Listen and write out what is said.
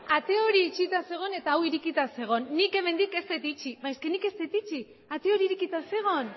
ate hori itxita zegoen eta hau irekita zegoen nik hemendik ez dut itxi eske nik ez dut itxi ate hori irekita zegoen